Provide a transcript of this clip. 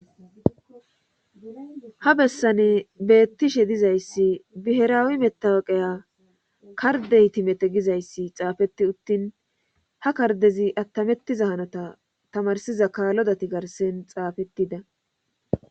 Ha bessane beettishe dizayssi biheraawi metawaqeya kardehtimete gizayssi xaafeti uttin ha kardezi attamettiza hanota tamarsiza kaalodati garsen xaafettida.